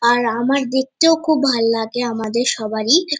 আর আমার দেখতেও খুব ভাল্লাগে আমাদের সবারই।